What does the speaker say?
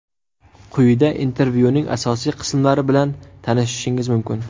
Quyida intervyuning asosiy qismlari bilan tanishishingiz mumkin.